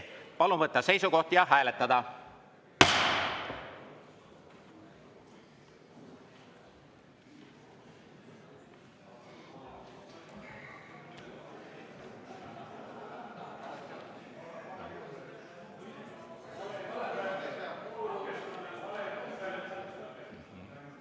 Palun võtta seisukoht ja hääletada!